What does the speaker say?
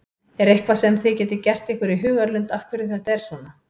Er eitthvað sem þið getið gert ykkur í hugarlund af hverju þetta er svona?